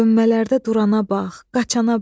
Dönmələrdə durana bax, qaçana bax.